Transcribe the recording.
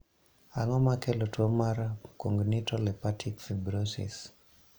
Ang'o makelo tuo mar congenital hepatic fibrosis?